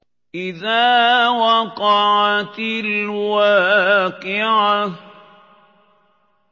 إِذَا وَقَعَتِ الْوَاقِعَةُ